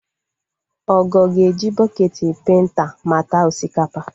Ogo ga-eji bọketị penta mata osikapa